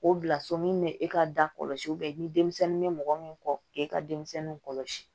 O bila so min bɛ e ka dakɔlɔsi denmisɛnnin bɛ mɔgɔ min kɔ k'e ka denmisɛnninw kɔlɔsi